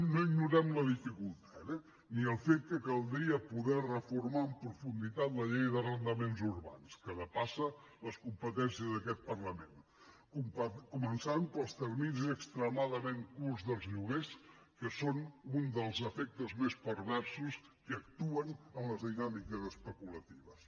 no ignorem la dificultat eh ni el fet que caldria poder reformar en profunditat la llei d’arrendaments urbans que depassa les competències d’aquest parlament començant pels terminis extremadament curts dels lloguers que són un dels efectes més perversos que actuen en les dinàmiques especulatives